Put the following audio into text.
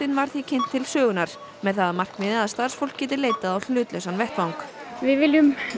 var því kynnt til sögunnar óháður með það að markmiði að starfsfólk geti leitað á hlutlausan vettvang við viljum